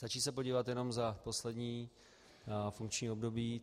Stačí se podívat jenom za poslední funkční období.